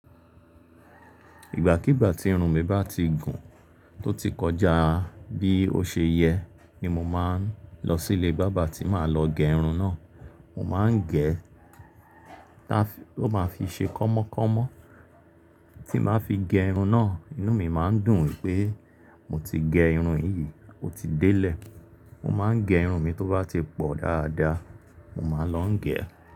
Ìgbàkígbà tí irun mi bá ti gùn tó ti kọjá bí ó ṣe yẹ ni mo máa ń lọ sí ilé bábà tí màá lọ gé irun náà. Mo máa ń gẹ̀, táa fi ó máa fi ṣe kọ́mọ́kọ́mọ́ tí màá fi gẹ irun náà, inú mi máa ń dùn wípé mo ti gẹ irun yìí, ó ti délẹ̀. Mo máa ń gẹ irun mi tó bá ti pọ̀ dáadáa, mo máa lọ ń gẹ̀